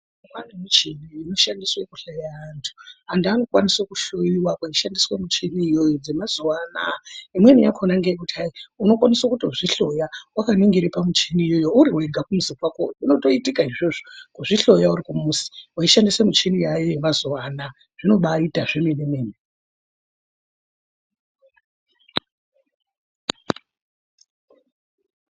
Kune michini inokwanisa kuhloya antu antu anokwanisa kuhloiwa kweishandiswa michini iyoyo dzemazuwa anaya unokwanisa kutodzihloya wakaningira pamuchini iyoyo uriwega kumuzi kwako zvinotoitika izvozvo kuzvihloya kuzvihloya uri kumuzi weishandisa muchini yaayo yemazuwa anaya zvinobaita zvemene mene.